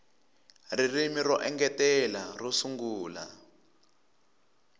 ririmi ro engetela ro sungula